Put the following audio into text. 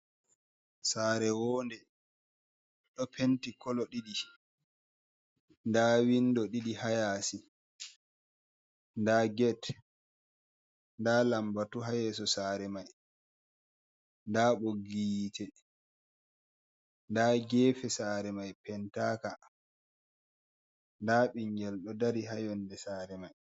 Sare wonɗe ɗo penti kolo ɗidi da windo ɗidi ha yasi da get da lambatu ha yeso sare mai da ɓoggi yite da gefe sare mai pentaka da ɓiingel ɗo dari ha yonɗe sare mai.